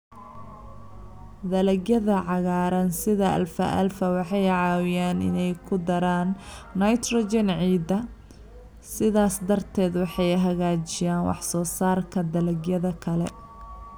Dalagyada cagaaran sida alfalfa waxay caawiyaan inay ku daraan nitrogen ciidda, sidaas darteed waxay hagaajinayaan wax soo saarka dalagyada kale.